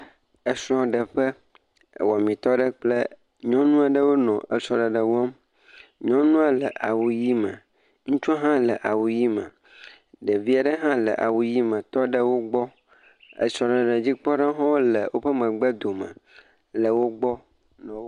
Esrɔ̃ɖeƒe. Wɔmitɔ aɖe kple nyɔnu aɖe wonɔ esrɔ̃ɖeɖe wɔm. Nyɔnua le awu ʋi me. Ŋutsua hã le awu ʋi me. Ɖevi aɖe hã le awu ʋi me tɔ ɖe wo gbɔ. Esrɔ̃ɖeɖe dzikpɔlawo hã le woƒe megbedome le wo gbɔ.